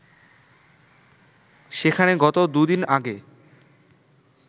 সেখানে গত দুদিন আগে